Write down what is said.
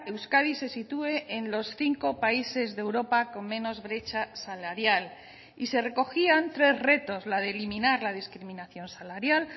euskadi se sitúe en los cinco países de europa con menos brecha salarial y se recogían tres retos la de eliminar la discriminación salarial